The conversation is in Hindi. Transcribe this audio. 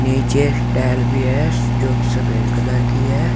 नीचे टाइल भी है जो कि सफेद कलर की है।